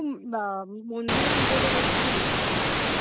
ওখানে মন্দিরে পুজো দেওয়ার খুব ইচ্ছে ছিলো